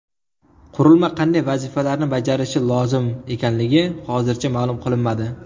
Qurilma qanday vazifalarni bajarishi lozim ekanligi hozircha ma’lum qilinmadi.